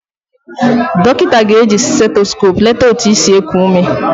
Dọkịnta ga-eji setoskop leta otu isi ekụ ụme.